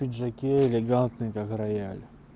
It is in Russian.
пиджаке элегантный как рояль